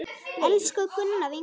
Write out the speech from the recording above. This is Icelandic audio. Elsku Gunna, vinkona okkar!